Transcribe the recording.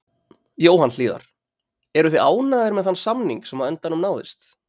Jóhann Hlíðar: Eruð þið ánægðir með þann samning sem á endanum náðist?